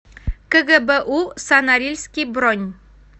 кгбу со норильский бронь